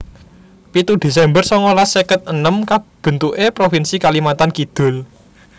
pitu desember songolas seket enem Kabentuké provinsi Kalimantan Kidul